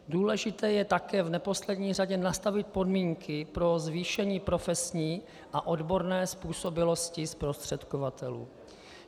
Důležité je také v neposlední řadě nastavit podmínky pro zvýšení profesní a odborné způsobilosti zprostředkovatelů.